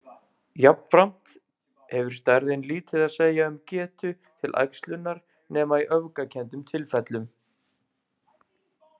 Jafnframt hefur stærðin lítið að segja um getu til æxlunar nema í öfgakenndum tilfellum.